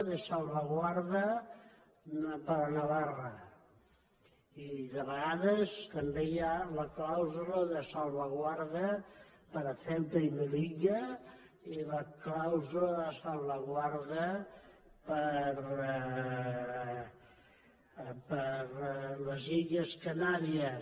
da para navarra i de vegades també hi ha la clàusula de salvaguarda per a ceuta y melillade salvaguarda per a les illes canàries